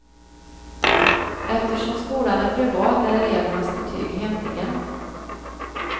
Eftersom skolan är privat är elevernas betyg hemliga.